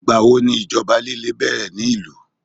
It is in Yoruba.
igbawo ni ìjọba like bẹrẹ ni ilu